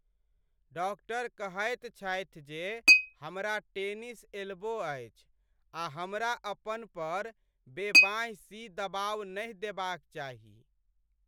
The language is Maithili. डाक्टर कहैत छथि जे हमरा टेनिस एल्बो अछि आ हमरा अपन पर बेबाँहि सी दबाव नहि देबाक चाही।